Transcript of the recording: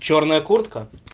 чёрная куртка